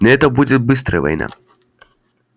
это будет быстрая война